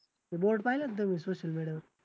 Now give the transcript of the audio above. ते board पाहिला का तुम्ही social media वर